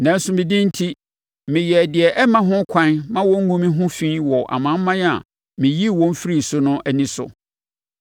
Nanso, me din enti, meyɛɛ deɛ ɛmma ho ɛkwan ma wɔnngu me ho fi wɔ amanaman a meyii wɔn firii so no ani so.